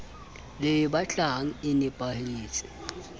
le e batlang e nepahetse